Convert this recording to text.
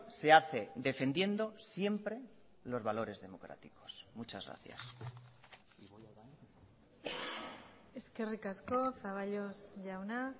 se hace defendiendo siempre los valores democráticos muchas gracias eskerrik asko zaballos jauna